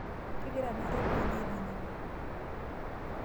Kegira naa ropiyani aitanyamal?